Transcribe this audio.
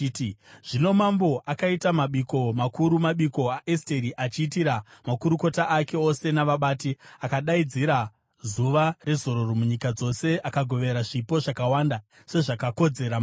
Zvino mambo akaita mabiko makuru, mabiko aEsteri, achiitira makurukota ake ose navabati. Akadaidzira zuva rezororo munyika dzose akagovera zvipo, zvakawanda sezvakakodzera mambo.